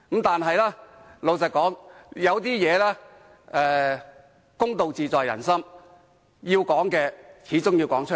但是，老實說，有些事，公道自在人心，要說的始終要說出來。